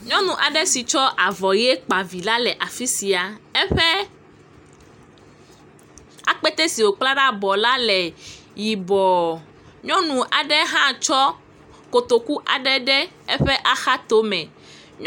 Nyɔnu aɖe si tsɔ avɔ ʋi kpa vi la le afi sia. Eƒe akpete si wokpla ɖe abɔ la le yibɔ. Nyɔnu aɖe hã tsɔ kotoku aɖe de eƒe axatome.